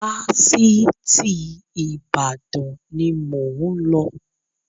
Fásitì Ìbàdàn ni mo ń lọ